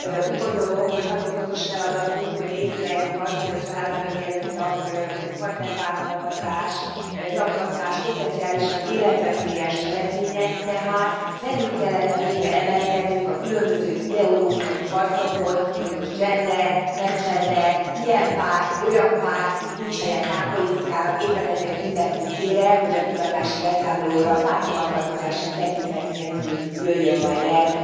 Úgy gondolom, hogy nagyon fontos feladatunk, hogy észleljük azt, hogy a családon belüli erőszak, partnerbántalmazás, zaklatás potenciálisan életveszélyes cselekmények, tehát felül kellene végre emelkednünk a különböző ideológiai harcokon, hogy most gender, nem gender, ilyen párt, olyan párt, itt nincs helye pártpolitikának, éppen ezért mindenkit kérek, hogy a kutatási beszámolóra párthovatartozásra tekintet nélkül jöjjön majd el.